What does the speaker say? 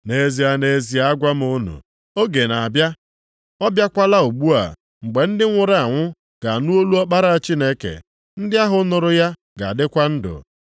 Nʼezie, nʼezie agwa m unu, oge na-abịa, ọ bịakwala ugbu a mgbe ndị nwụrụ anwụ ga-anụ olu Ọkpara Chineke, ndị ahụ nụrụ ya ga-adịkwa ndụ.